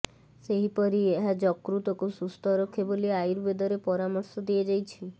ସେହିପରି ଏହା ଯକୃତକୁ ସୁସ୍ଥ ରଖେ ବୋଲି ଆୟୁର୍ବେଦରେ ପରାମର୍ଶ ଦିଆଯାଇଛି